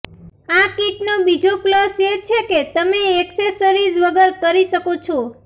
આ કિટનો બીજો પ્લસ એ છે કે તમે એક્સેસરીઝ વગર કરી શકો છો